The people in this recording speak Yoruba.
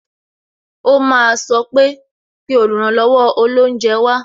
O máa sọ pé "pè oluranlowo olounje wá"